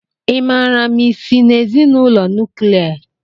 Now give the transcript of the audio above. Ị maara ma ị si na ezinụlọ nuklia?